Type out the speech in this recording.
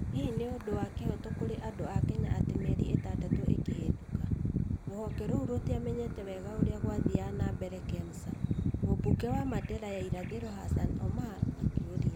Hĩhĩ nĩ ũndũ wa kĩhooto kũrĩ andũ a Kenya atĩ mĩeri ĩtandatũ ĩkĩhĩtũka, rũhonge rũu rũtiamenyete wega ũrĩa gwathiaga na mbere Kemsa? mũmbunge wa Mandera ya irathĩro Hassan Omar akĩũria.